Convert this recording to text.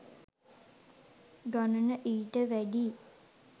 ගණන ඊට වැඩියි